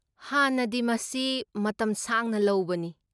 ꯍꯥꯟꯅꯗꯤ, ꯃꯁꯤ ꯃꯇꯝ ꯁꯥꯡꯅ ꯂꯧꯕꯅꯤ꯫